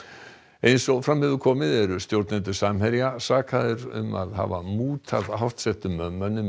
eins og fram hefur komið eru stjórnendur Samherja sakaðir um að hafa mútað hátt settum mönnum í